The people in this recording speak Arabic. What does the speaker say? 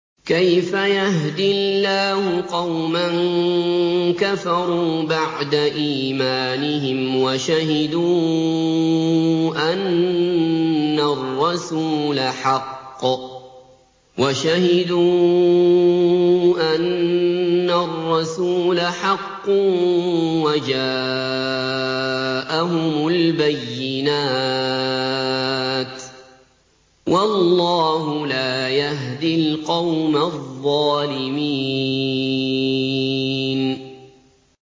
كَيْفَ يَهْدِي اللَّهُ قَوْمًا كَفَرُوا بَعْدَ إِيمَانِهِمْ وَشَهِدُوا أَنَّ الرَّسُولَ حَقٌّ وَجَاءَهُمُ الْبَيِّنَاتُ ۚ وَاللَّهُ لَا يَهْدِي الْقَوْمَ الظَّالِمِينَ